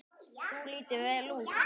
Þú lítur vel út.